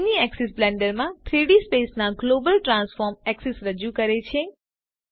mini axis Blender માં 3ડી space ના ગ્લોબલ ટ્રાન્સફોર્મ એક્સિસ રજૂ કરે છે